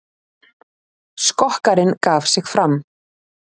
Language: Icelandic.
Skokkarinn gaf sig fram